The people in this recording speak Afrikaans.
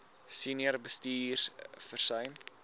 senior bestuurders versuim